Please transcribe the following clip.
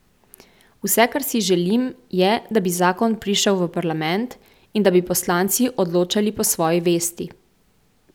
Vse, kar si želim, je, da bi zakon prišel v parlament in da bi poslanci odločali po svoji vesti.